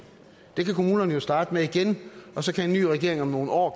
det kan kommunerne jo starte med igen og så kan en ny regering om nogle år